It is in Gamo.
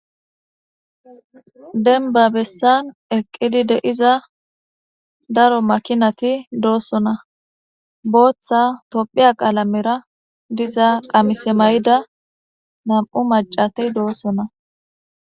Demiba besani eqidi deiza daro makkinati dosona botha tophphiya qalaamera diza qamise mayidda namu maccati dosona